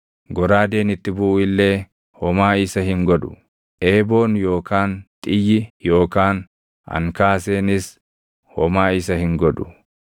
Goraadeen itti buʼu illee homaa isa hin godhu; eeboon yookaan xiyyi yookaan ankaaseenis homaa isa hin godhu.